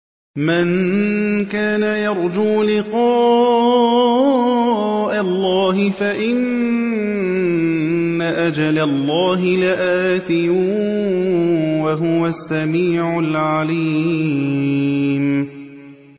مَن كَانَ يَرْجُو لِقَاءَ اللَّهِ فَإِنَّ أَجَلَ اللَّهِ لَآتٍ ۚ وَهُوَ السَّمِيعُ الْعَلِيمُ